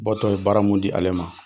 Bɔ tɔ ye baara mun di ale ma.